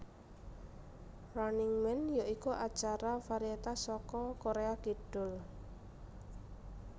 Running Man ya iku acara varietas saka Korea Kidul